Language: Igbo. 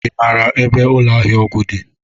Ị maara ebe ụlọ ahịa ọgwụ dị?